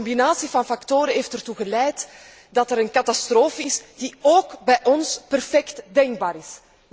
Een combinatie van factoren heeft ertoe geleid dat er een catastrofe is die ook bij ons perfect denkbaar is.